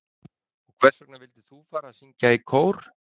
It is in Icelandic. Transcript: Heimir Már: Og hvers vegna vildir þú fara að syngja í kór?